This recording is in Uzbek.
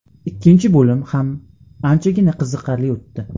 Ikkinchi bo‘lim ham anchagina qiziqarli o‘tdi.